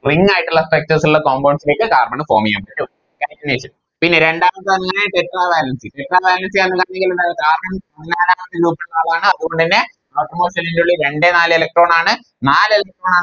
Ring ആയിട്ടിള്ള Structures ഇള്ള Compounds ലേക്ക് Carbon ന് Form ചെയ്യാൻ പറ്റും Catenation പിന്നെ രണ്ടാമത് വരുന്നെ tetra valencyTetra valency യാണ് Tetra valency ആളാണ് അതുകൊണ്ട് തന്നെ Outer most shell ന്റെ ഉള്ളിൽ രണ്ട് നാല് Electron ആണ് നാല് Electron ആണ്